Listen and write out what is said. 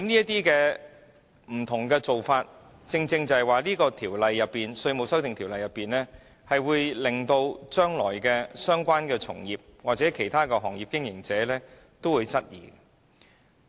這些不同做法亦令《條例草案》的相關條文，成為將來被相關從業者或其他行業經營者質疑的目標。